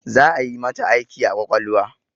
Za'a yi mata aiki a ƙwaƙwalwa